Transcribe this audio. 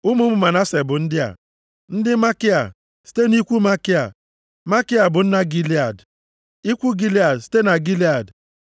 Ụmụ ụmụ Manase bụ ndị a: ndị Makia, site nʼikwu Makia. Makia bụ nna Gilead. Ikwu Gilead, site na Gilead.